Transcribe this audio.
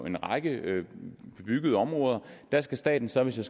en række bebyggede områder og der skal staten så hvis jeg